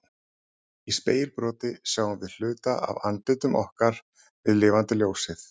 Í spegilbroti sjáum við hluta af andlitum okkar við lifandi ljósið.